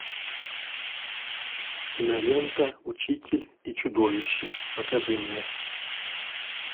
кинолента учитель и чудовище покажи мне